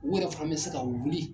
U yɛrɛ fana mi se ka wuli